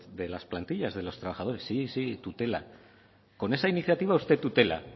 de las plantillas de los trabajadores sí sí tutela con esa iniciativa usted tutela